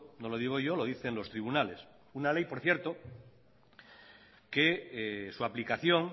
no lo digo yo lo dicen los tribunales una ley por cierto que su aplicación